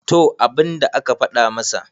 to abinda aka fada masa